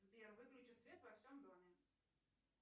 сбер выключи свет во всем доме